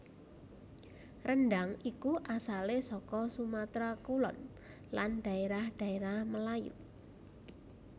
Rendhang iku asalé saka Sumatra Kulon lan daérah daérah Melayu